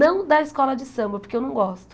Não da escola de samba, porque eu não gosto.